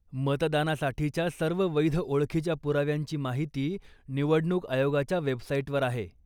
मतदानासाठीच्या सर्व वैध ओळखीच्या पुराव्यांची माहिती निवडणूक आयोगाच्या वेबसाईटवर आहे.